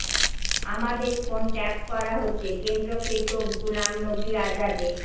আমাদের phone tap করা হচ্ছেঃ কেন্দ্রকে তোপ গুলাম নবি আজাদের